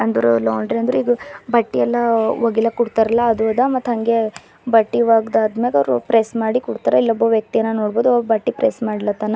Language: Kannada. ಅಂದ್ರ ಲಾಂಡ್ರಿ ಅಂದ್ರೆ ಇದು ಬಟ್ಟಿ ಎಲ್ಲಾ ಒಗಿಲಕ್ ಕೊಡ್ತಾರಲ್ಲ ಅದು ಅದ ಮತ್ತು ಹಂಗೆ ಬಟ್ಟಿ ಒಗ್ದಾದ್ ಮ್ಯಾಗ ಅವ್ರು ಪ್ರೆಸ್ ಮಾಡಿ ಕೊಡ್ತಾರ ಇಲ್ಲೊಬ್ಬ ವ್ಯಕ್ತಿಯನ್ನ ನೋಡ್ಬಹುದು ಬಟ್ಟಿ ಪ್ರೆಸ್ ಮಾಡ್ಲತಾನ.